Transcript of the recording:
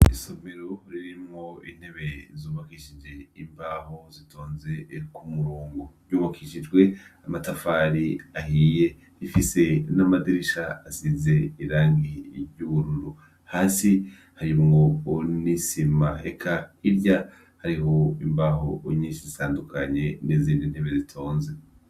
Isomero ririmwo intebe zubakishije imbaho zitonze ku murongo. Yubakishijwe amatafari ahiye. ifise n'amadirisha asize irangi ry'ubururu. Hasi harimwo n'isima. Eka hirya hariho imbaho nyishi zitanukanye n'izindi intebe zitonze.